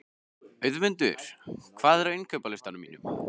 Auðmundur, hvað er á innkaupalistanum mínum?